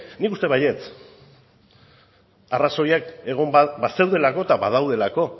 nik uste dut baietz arrazoiak egon bazeudelako eta badaudelako